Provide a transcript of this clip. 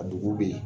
A dugu bɛ yen